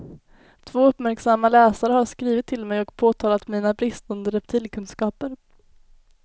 Två uppmärksamma läsare har skrivit till mig och påtalat mina bristande reptilkunskaper.